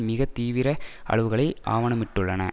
மிக தீவிர அளவுகளை ஆவணமிட்டுள்ளன